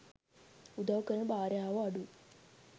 උදව් කරන භාර්යාවෝ අඩුයි.